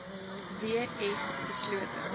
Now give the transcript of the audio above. w s beslote